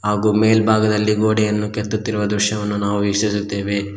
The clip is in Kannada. ಹಾಗು ಮೇಲ್ಭಾಗದಲ್ಲಿ ಗೋಡೆಯನ್ನು ಕೆತ್ತುತ್ತಿರುವ ದೃಶ್ಯವನ್ನು ನಾವು ವೀಕ್ಷಿಸುತ್ತೇವೆ.